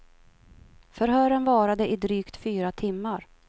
Förhören varade i drygt fyra timmar.